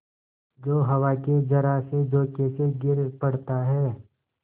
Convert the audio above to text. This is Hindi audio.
जो हवा के जरासे झोंके से गिर पड़ता है